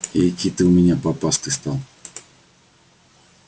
экий ты у меня попастый стал